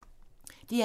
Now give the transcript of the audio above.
DR1